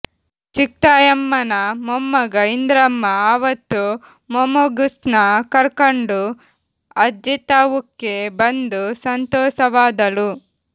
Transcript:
ಚಿಕ್ತಾಯಮ್ಮನ ಮೊಮ್ಮಗ ಇಂದ್ರಮ್ಮ ಅವತ್ತು ಮೊಮ್ಗೂಸ್ನ ಕರ್ಕಂಡು ಅಜ್ಜಿತವುಕ್ಕೆ ಬಂದು ಸಂತೋಸವಾದಳು